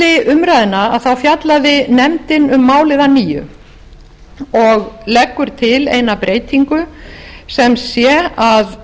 milli umræðna fjallaði nefndin um málið að nýju og leggur til eina breytingu sem sé að